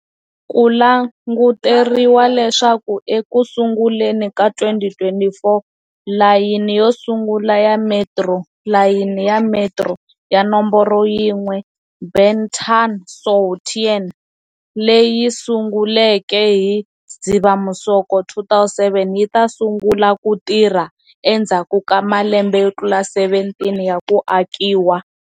Ku languteriwe leswaku eku sunguleni ka 2024, layini yo sungula ya metro, layini ya metro ya nomboro yin'we Ben Thanh-Suoi Tien, leyi sunguleke hi Dzivamisoko 2007 yi ta sungula ku tirha endzhaku ka malembe yo tlula 17 ya ku akiwa.